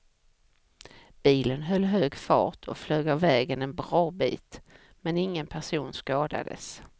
Bilen höll hög fart och flög av vägen en bra bit, men ingen person skadades.